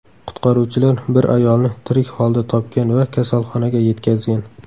Qutqaruvchilar bir ayolni tirik holda topgan va kasalxonaga yetkazgan.